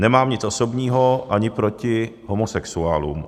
Nemám nic osobního ani proti homosexuálům.